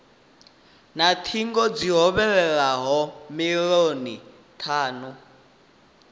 na thingo dzi hovhelelaho milioni thanu